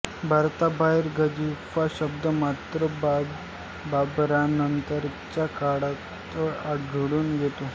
भारताबाहेर गंजिफा शब्द मात्र बाबरानंतरच्या काळातच आढळून येतो